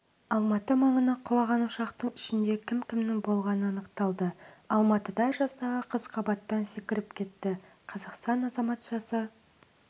алматы маңына құлаған ұшақтың ішінде кім-кімнің болғаны анықталды алматыда жастағы қыз қабаттан секіріп кетті қазақстан азаматшасы